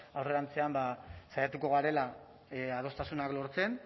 aurrerantzean saiatuko garela adostasunak lortzen